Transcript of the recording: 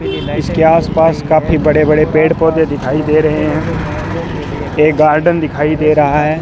इसके आस पास काफी बड़े बड़े पेड़ पौधे दिखाई दे रहे है एक गार्डन दिखाई दे रहा है।